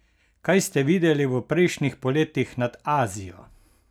Kaj ste videli v prejšnjih poletih nad Azijo?